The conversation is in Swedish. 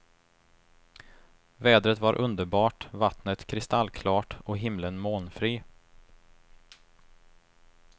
Vädret var underbart, vattnet kristallklart och himlen molnfri.